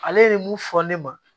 Ale ye mun fɔ ne ma